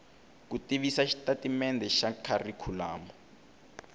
ku tivisa xitatimendhe xa kharikhulamu